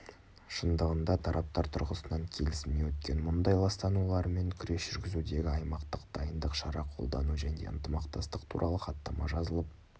шындығында тараптар тұрғысынан келісімнен өткен мұнай ластануларымен күрес жүргізудегі аймақтық дайындық шара қолдану және ынтымақтастық туралы хаттама жазылып